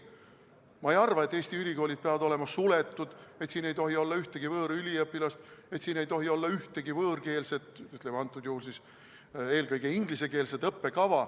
Ma ei arva, et Eesti ülikoolid peavad olema suletud, et siin ei tohi olla ühtegi võõrüliõpilast, et siin ei tohi olla ühtegi võõrkeelset, ütleme, eelkõige ingliskeelset õppekava.